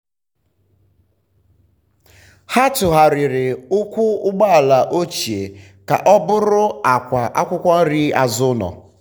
ha tụgharịrị ụkwụ ụgbọala ochie ka ọ bụrụ àkwà akwụkwọ nri azụ ụlọ.